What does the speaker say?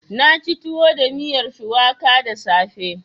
Na ci tuwo da miyar shuwaka da safe.